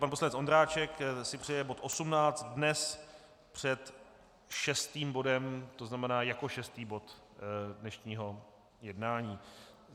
Pan poslanec Ondráček si přeje bod 18 dnes před šestým bodem, to znamená jako šestý bod dnešního jednání.